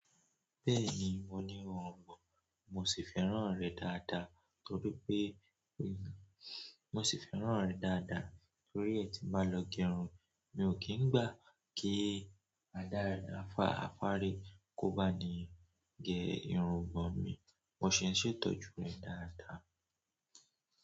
Bẹ́ẹ̀ni, mo ní irungbon, mo sì fẹ́ràn rẹ̀ dáadáa torí pé, mo sì fẹ́ràn rẹ̀ dáadáa torí é tí bá lọ gẹ irun, mi ò kí ń gbà kí àdá rẹ̀ la fa afári kó bá ni gé irungbon mi, mo si un ṣẹ̀ ìtọ́jú rẹ̀ dáadáa.